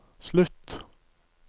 slutt